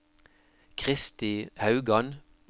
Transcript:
Kristi Haugan